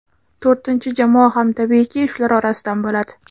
To‘rtinchi jamoa ham tabiiyki, shular orasidan bo‘ladi.